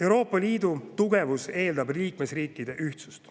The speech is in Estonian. Euroopa Liidu tugevus eeldab liikmesriikide ühtsust.